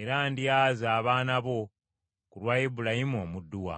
era ndyaza abaana bo ku lwa Ibulayimu omuddu wange.”